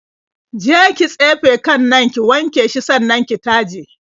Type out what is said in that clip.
Je ki tsefe kan nan, ki wanke shi sannan ki taje.